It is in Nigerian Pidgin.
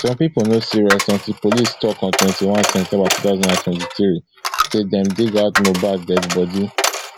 some pipo no still rest until police tok on twenty-one september two thousand and twenty-three say dem dig out mohbad deadi bodi